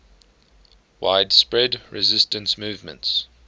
widespread resistance movements